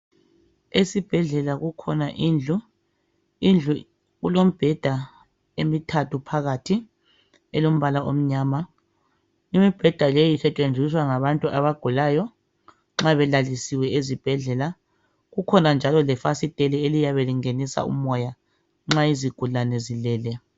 Esibhedlela kukhona indlu indlu kulembheda emithathu phalathi elombala omnyama imbeda leyi isetshenziswa ngabantu abagulayo nxa belalisiwe ezibhedlela kukhona njalo lefazitela eliyabe lingenisa umoya nxa izigulane zilele